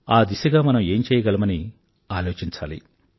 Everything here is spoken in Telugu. ఆ దిశగా మనం ఏం చెయ్యగలమని ఆలోచించాలి